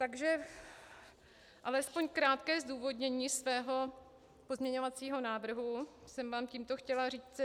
Takže alespoň krátké zdůvodnění svého pozměňovacího návrhu jsem vám tímto chtěla říci.